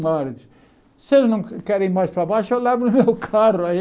Mar se eles não querem ir mais para baixo, eu levo o meu carro aí.